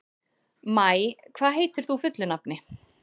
Maj, hvað heitir þú fullu nafni?